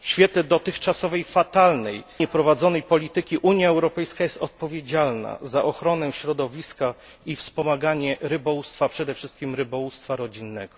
W świetle dotychczasowej fatalnie prowadzonej polityki Unia Europejska jest odpowiedzialna za ochronę środowiska i wspomaganie rybołówstwa, przede wszystkim rybołówstwa rodzinnego.